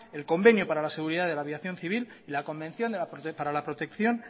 el convenio para seguridad de la aviación civil y la convención para la protección